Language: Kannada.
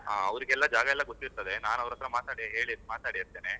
ಅವ್ರಿಗೆಲ್ಲ ಜಾಗ ಎಲ್ಲ ಗೊತ್ತಿರ್ತದೆ, ನಾನ್ ಅವ್ರ್ ಹತ್ರ ಮಾತಾಡಿ ಹೇಳಿ ಮಾತಾಡಿರ್ತೇನೆ.